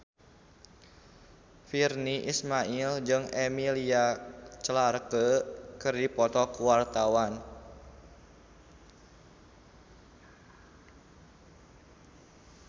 Virnie Ismail jeung Emilia Clarke keur dipoto ku wartawan